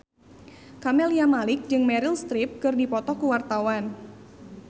Camelia Malik jeung Meryl Streep keur dipoto ku wartawan